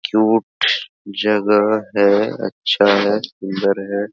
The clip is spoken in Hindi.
क्यूट जगह हैअच्छा है सूंदर है ।